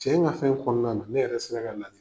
Cɛ in ka fɛn kɔnɔna na ne yɛrɛ sinna ka